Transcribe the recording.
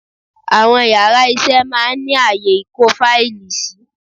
Àwọn yàrá isé máa ní ààyè ìkó fáìlì sí